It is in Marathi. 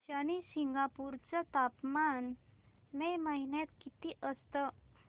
शनी शिंगणापूर चं तापमान मे महिन्यात किती असतं